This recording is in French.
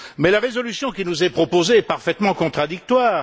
Mais la résolution qui nous est proposée est parfaitement contradictoire.